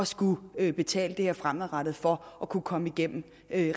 skulle betale det her fremadrettet for at kunne komme igennem